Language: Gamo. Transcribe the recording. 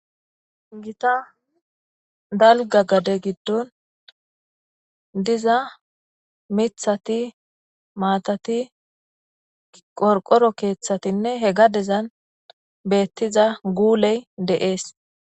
Gita dalgga gade giddon diza miththati maatati qorqoro keeththatinne he gadezan beettiza guuley de'ees.